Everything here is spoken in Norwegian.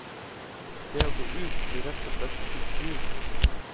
Det å gå ut blir rett og slett utrivelig.